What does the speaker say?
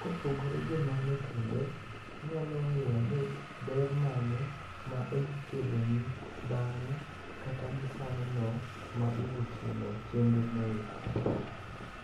Kopogore gi mano kendo inyalo ng'iyo ni ber mane ma odhi keloni bang'e kata gi sano no ma idhitimo chenrono eki.